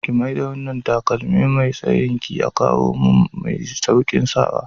Ki mai da wanna takalmi Mai tsayin ki kawumin mai saukin sawa.